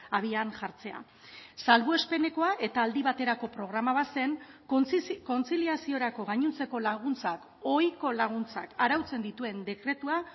abian jartzea salbuespenekoa eta aldi baterako programa bat zen kontziliaziorako gainontzeko laguntzak ohiko laguntzak arautzen dituen dekretua